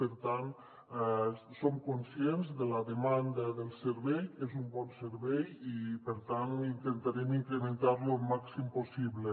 per tant som conscients de la demanda del servei és un bon servei i per tant intentarem incrementar lo el màxim possible